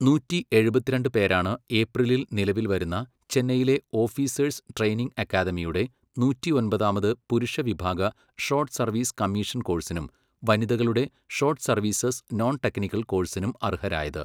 നൂറ്റി എഴുപത്തിരണ്ട് പേരാണ് ഏപ്രിലിൽ നിലവിൽ വരുന്ന ചെന്നൈയിലെ ഓഫീസസേഴ്സ് ട്രയിനിംഗ് അക്കാദമിയുടെ നൂറ്റി ഒമ്പതാമത് പുരുഷ വിഭാഗ ഷോർട്ട് സർവ്വീസ് കമ്മീഷൻ കോഴ്സിനും, വനിതകളുടെ ഷോർട്ട് സർവ്വീസസ് നോൺ ടെക്നിക്കൽ കോഴ്സിനും അർഹരായത്.